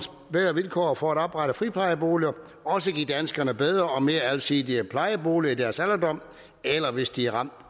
ved at vilkår for at oprette friplejeboliger også give danskerne bedre og mere alsidige plejeboliger i deres alderdom eller hvis de er ramt